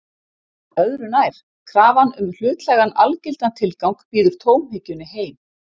Öðru nær: Krafan um hlutlægan, algildan tilgang býður tómhyggjunni heim.